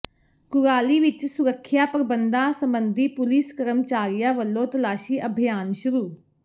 ਕੁਰਾਲੀ ਵਿੱਚ ਸੁਰੱਖਿਆ ਪ੍ਰਬੰਧਾਂ ਸਬੰਧੀ ਪੁਲੀਸ ਕਰਮਚਾਰੀਆਂ ਵੱਲੋਂ ਤਲਾਸ਼ੀ ਅਭਿਆਨ ਸ਼ੁਰੂ